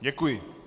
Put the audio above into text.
Děkuji.